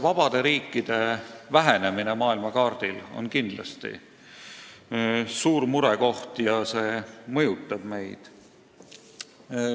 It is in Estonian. Vabade riikide vähenemine maailmakaardil on kindlasti suur murekoht ja see mõjutab meid.